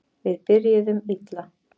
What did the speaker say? Við byrjuðum illa